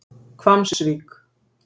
Hvammsvík